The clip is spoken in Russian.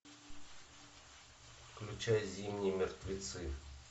включай зимние мертвецы